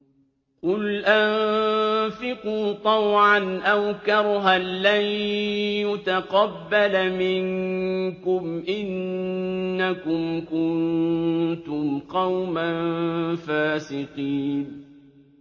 قُلْ أَنفِقُوا طَوْعًا أَوْ كَرْهًا لَّن يُتَقَبَّلَ مِنكُمْ ۖ إِنَّكُمْ كُنتُمْ قَوْمًا فَاسِقِينَ